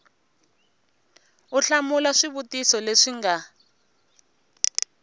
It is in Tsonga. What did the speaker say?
u hlamula swivutiso leswi nga